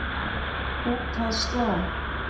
Út að slá!